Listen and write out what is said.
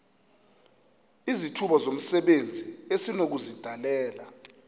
izithuba zomsebenzi esinokuzidalela